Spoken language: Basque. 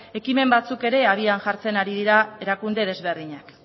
ekimen batzuk ere abian jartzen ari dira erakunde desberdinak